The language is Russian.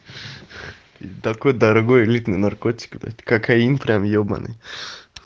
такой дорогой элитный наркотик блять кокаин прям ебаный